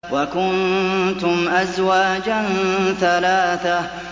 وَكُنتُمْ أَزْوَاجًا ثَلَاثَةً